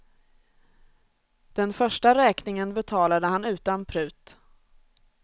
Den första räkningen betalade han utan prut.